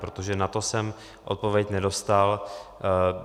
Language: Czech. Protože na to jsem odpověď nedostal.